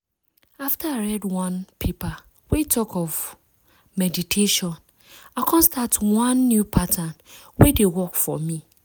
after i read one paper wey talk of wait! meditation i come start one new pattern wey dey work for me.